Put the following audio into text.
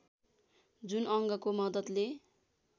जुन अङ्गको मद्दतले